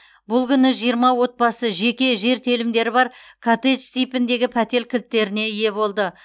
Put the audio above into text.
бұл күні жиырма отбасы жеке жер телімдері бар коттедж типіндегі пәтер кілттеріне ие болды